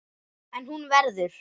En hún verður.